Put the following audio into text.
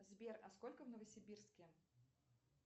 сбер а сколько в новосибирске